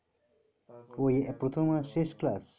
ওই প্রথম আর শেষ class?